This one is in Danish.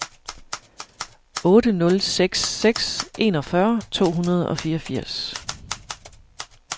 otte nul seks seks enogfyrre to hundrede og fireogfirs